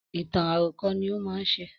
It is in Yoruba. Ìtàn àròkọ ní ó má ń ṣe